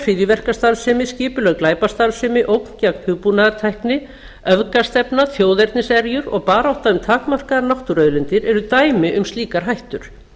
hryðjuverkastarfsemi skipulögð glæpastarfsemi ógn gegn hugbúnaðartækni öfgastefna þjóðerniserjur og barátta um takmarkaðar náttúruauðlindir eru dæmi um slíkar hættur